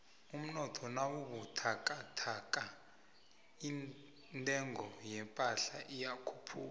umnotho nawubuthakathaka intengo yephahla iyakhuphuka